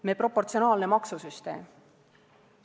Me proportsionaalne maksusüsteem.